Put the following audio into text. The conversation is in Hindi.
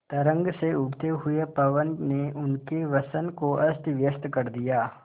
तरंग से उठते हुए पवन ने उनके वसन को अस्तव्यस्त कर दिया